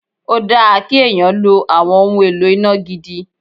Ó dáa kí èèyàn lo àwọn ohun èlò iná gidi